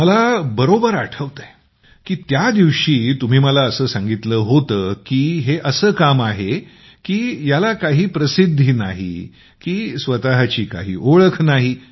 मला बरोबर आठवतं की त्या दिवशी तुम्ही मला असं सांगितलं होतं की हे असं काम आहे की याची काही प्रसिद्घी नाही की स्वतःची काही ओळख नाही